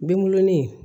Dengulon in